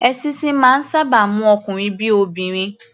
Èṣíṣí máa ń sáábà mú ọkunrin bí i obìnrin.